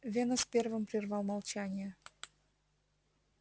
венус первым прервал молчание